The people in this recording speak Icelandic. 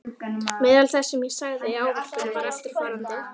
Meðal þess sem ég sagði í ávarpinu var eftirfarandi